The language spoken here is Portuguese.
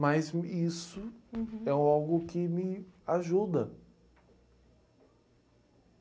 Mas me, isso é algo que me ajuda.